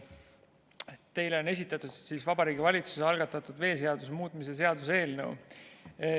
Teile on esitatud Vabariigi Valitsuse algatatud veeseaduse muutmise seaduse eelnõu.